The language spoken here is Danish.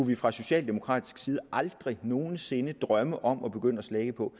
vi fra socialdemokratisk side aldrig nogen sinde kunne drømme om at begynde at slække på